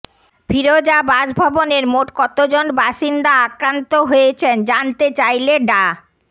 ফিরোজা বাসভবনের মোট কতজন বাসিন্দা আক্রান্ত হয়েছেন জানতে চাইলে ডা